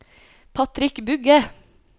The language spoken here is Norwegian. Patrick Bugge